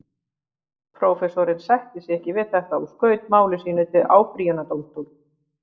Prófessorinn sætti sig ekki við þetta og skaut máli sínu til áfrýjunardómstóls.